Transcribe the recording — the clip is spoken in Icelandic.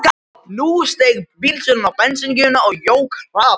Nú steig bílstjórinn á bensíngjöfina og jók hraðann.